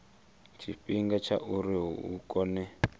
tshifhinga tsha uri hu kone